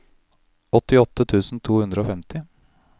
åttiåtte tusen to hundre og femti